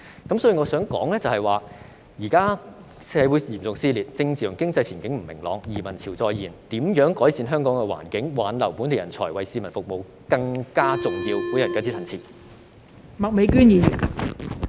所以，我想說的是，現在社會嚴重撕裂，政治和經濟前景不明朗，移民潮再現，如何改善香港環境，挽留本地人才為市民服務，才是更重要的事。